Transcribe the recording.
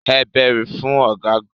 Ẹ bẹ́rí fún Ọ̀gágun.